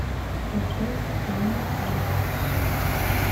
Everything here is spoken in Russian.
поставь джонни кэш